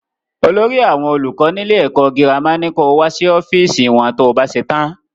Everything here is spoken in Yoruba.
Olórí àwọn olùkọ́ nílé ẹkọ gírámà ní ko wá sí ọ́fíìsì wọn to bá ṣetán.